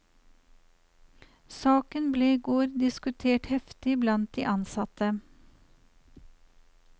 Saken ble i går diskutert heftig blant de ansatte.